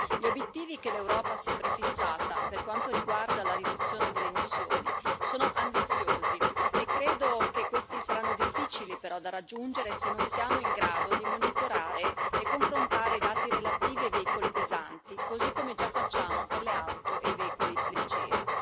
Gli obiettivi che l'Europa si è prefissata per quanto riguarda la riduzione delle emissioni sono ambiziosi e credo che questi saranno difficili però da raggiungere se non siamo in grado di monitorare e confrontare i dati relativi ai veicoli pesanti, cosi come già facciamo per le auto e i veicoli leggeri.